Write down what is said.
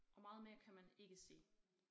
Og meget mere kan man ikke sige